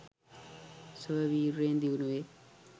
ස්වවීර්යයෙන් දියුණුවේ